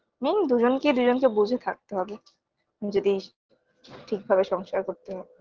main দুজনকে দুজনকে বুঝে থাকতে হবে যদি ঠিকভাবে সংসার করতে হয়